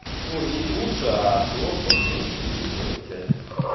то есть лучше а то собственно что есть в этом чате